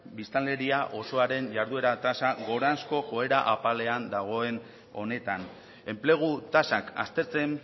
biztanleria osoaren jarduera tasa gorazko joera apalean dagoen honetan enplegu tasak aztertzen